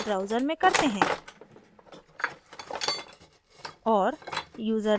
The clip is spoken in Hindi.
अब हम यह web browser में करते हैं